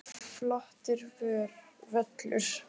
Flottur völlur.